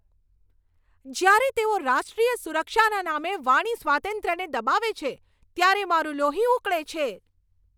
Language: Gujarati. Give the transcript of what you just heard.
જ્યારે તેઓ રાષ્ટ્રીય સુરક્ષાના નામે વાણી સ્વાતંત્ર્યને દબાવે છે ત્યારે મારું લોહી ઉકળે છે.